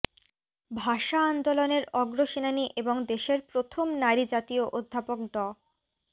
ভাষা আন্দোলনের অগ্রসেনানী এবং দেশের প্রথম নারী জাতীয় অধ্যাপক ড